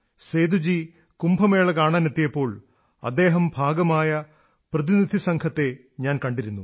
സേദുജി കുംഭമേള കാണാനെത്തിയപ്പോൾ അദ്ദേഹം ഭാഗമായ പ്രതിനിധിസംഘത്തെ ഞാൻ കണ്ടിരുന്നു